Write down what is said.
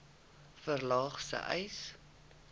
verlaag sê uys